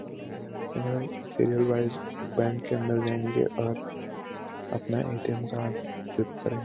Serial wise bank के अंदर जाएँगे और अपना ए_टी_एम कार्ड स्वीप करें।